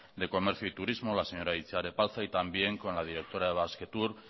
de comercio y turismo la señora itziar epalza y también con la directora de basquetour